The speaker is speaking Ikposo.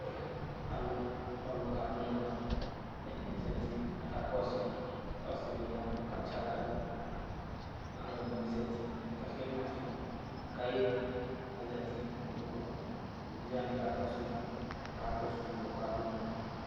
Alʋ, alʋ kadʋ ʋnɔ ɛdɩ bɩ zati kakakɔsʋ yɩ ɔsɩdɩ ya katsɩ aɣla dʋ alʋ ɛdɩnɩ bɩ zati kakenyuǝ ɔfɩ kʋ ayeli kʋ azati nʋ ikpoku evidze wanɩ kakɔsʋ udu kakɔsʋ uvi yɛ ɔkadʋ ʋnɔ yɛ